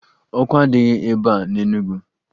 Ọkụ adịghị ebe a n'Enugwu